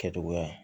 Kɛtogoya